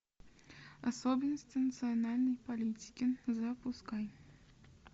особенности национальной политики запускай